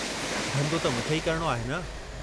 धन्धो त मूंखे ई करणो आहे न।